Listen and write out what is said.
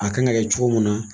A kan ka kɛ cogo min na